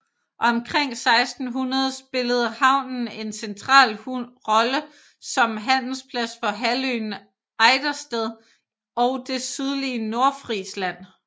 Omkring 1600 spillede havnen en central rolle som handelsplads for halvøen Ejdersted og det sydlige Nordfrisland